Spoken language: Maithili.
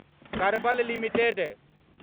करबल लिमिटेड